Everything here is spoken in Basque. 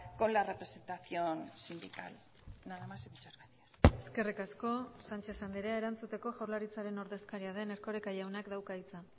con la representación sindical nada más y muchas gracias eskerrik asko sánchez andrea erantzuteko jaurlaritzaren ordezkaria den erkoreka jaunak dauka hitza